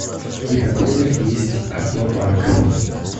в каких отелях есть аквапарк